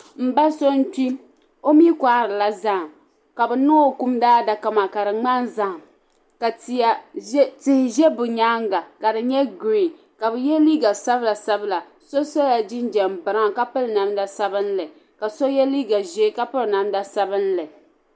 M ba so n-kpi o mi kɔhirila zahim ka bɛ niŋ o kum daadaka maa ka di ŋmani zahim ka tihi ʒe bɛ nyaaŋa ka di nyɛ giriin ka bɛ ye so ye liiga sabilasabila so sola jinjam biraun ka piri namda sabinli ka so ye liiga ʒee ka piri namda sabinli